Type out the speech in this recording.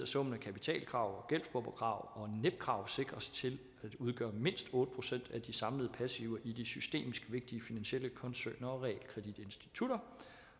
summen af kapitalkrav gældsbufferkrav og netkrav udgør mindst otte procent af de samlede passiver i de systemisk vigtige finansielle koncerner og realkreditinstitutter